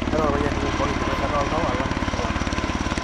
keeta ilpayiani kumok enkitasho oltau alang inkituak.